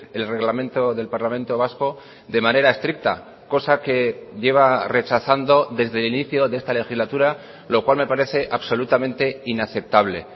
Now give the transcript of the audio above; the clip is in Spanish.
el reglamento del parlamento vasco de manera estricta cosa que lleva rechazando desde el inicio de esta legislatura lo cual me parece absolutamente inaceptable